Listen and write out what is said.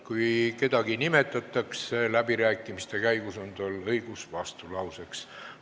Kui kedagi nimetatakse läbirääkimiste käigus, on tal õigus vastulauseks.